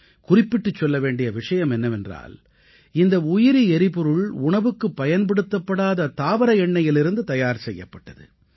குறிப்பிட்டுச் சொல்ல வேண்டிய விஷயம் என்னவென்றால் இந்த உயிரி எரிபொருள் உணவுக்குப்பயன்படுத்தப்படாத தாவர எண்ணெயிலிருந்து தயார் செய்யப்பட்டது